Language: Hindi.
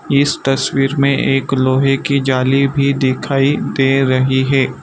इस तस्वीर में एक लोहे की जाली भी दिखाई दे रही हैं।